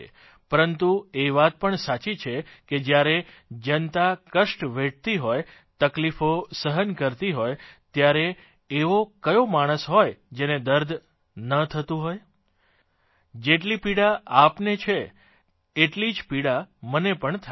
પરંતુ એ વાત પણ સાચી છે કે જયારે જનતા કષ્ટ વેઠતી હોય તકલીફો સહન કરતી હોય ત્યારે એવો કયો માણસ હોય જેને દર્દ ન થતું હોય જેટલી પીડા આપને છે એટલી જ પીડા મને પણ થાય છે